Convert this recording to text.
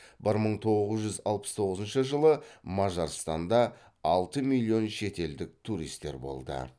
бір мың тоғыз жүз алпыс тоғызыншы жылы мажарстанда алты миллион шетелдік туристер болды